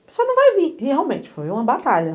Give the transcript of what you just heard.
O pessoal não vai vir, realmente, foi uma batalha.